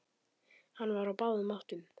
Hann var á báðum áttum.